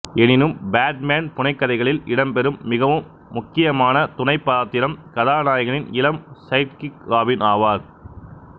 எனினும் பேட்மேன் புனைகதைகளில் இடம்பெறும் மிகவும் முக்கியமான துணைப்பாத்திரம் கதாநாயகனின் இளம் சைட்கிக் ராபின் ஆவார்